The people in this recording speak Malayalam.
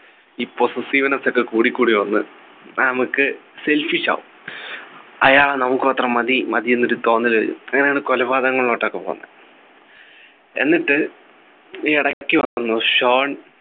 ഈ Possessiveness ഒക്കെ കൂടി കൂടി വന്നു നമുക്ക് selfish ആവും അയാൾ നമുക്ക് മാത്രം മതി മതി എന്നൊരു തോന്നൽ വരും അങ്ങനെയാണ് കൊലപാതങ്ങൾ നടക്കുന്നത് എന്നിട്ട് ഈ ഇടയ്ക്ക് വന്നു ഷോൺ